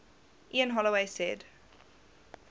ian holloway said